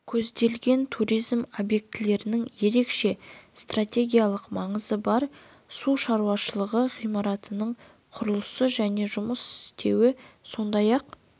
көзделген туризм объектілерінің ерекше стратегиялық маңызы бар су шаруашылығы ғимараттарының құрылысы және жұмыс істеуі сондай-ақ